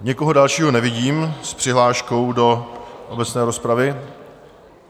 Nikoho dalšího nevidím s přihláškou do obecné rozpravy.